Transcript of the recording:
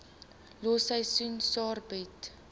los seisoensarbeid